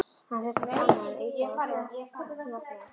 Hann þurfti ekki annað en ýta á svo hún opnaðist.